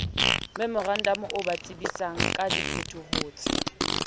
memorantamo o ba tsebisangka diphetohotse